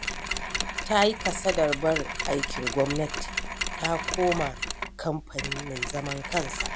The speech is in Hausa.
Ta yi kasadar barin aikin gwamnati, ta koma kamfani mai zaman kansa.